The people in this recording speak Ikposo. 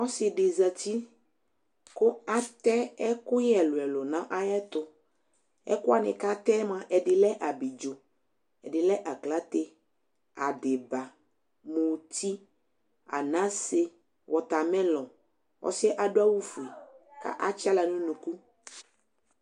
Ɔsɩ dɩ zatɩ kʊ atɛ ɛƙʊƴɛ ɛlʊɛlʊ ŋaƴɛtʊ Ɛƙʊ waŋɩ ƙatɛ mʊa ɛdɩ lɛ aɓlɩɖzo, ɛdɩ lɛ aƙlate, aɗɩɓa, mʊtɩ, aŋase, wɔtamelɔ Ɔsɩɛ adʊ awʊ fʊe katsawla ŋʊ ʊŋʊƙʊ